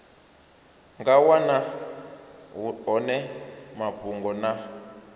nga wana hone mafhungo na